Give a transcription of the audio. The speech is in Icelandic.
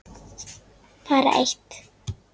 Bara eitt